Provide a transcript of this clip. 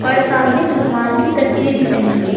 और सामने भगवान की तस्वीर भी टंगी हुई है।